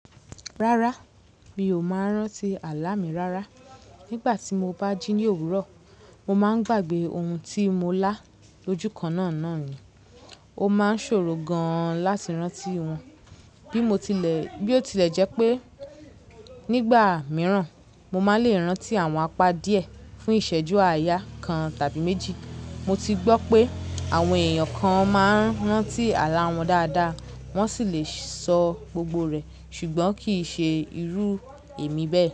Rárá, mi ò máa ń rántí àlá mi rárá. Nígbà tí mo bá jí ní òwúrọ̀, mo máa ń gbàgbé ohun tí mo lá lójú kan náà nì. Ó máa ń ṣòro gan-an láti rántí wọn. Bi mo tile Bí ó tilẹ̀ jẹ́ pé nígbà mìíràn mo máa le rántí àwọn apá díẹ̀ fún ìṣẹ́jú àyà kan tàbí méjì. Mo ti gbọ́ pé àwọn èèyàn kan máa ń rántí àlá wọn dáadáa, wọ́n sì lè sọ gbogbo rẹ̀, ṣùgbọ́n kì í ṣe irú èmi bẹ́ẹ̀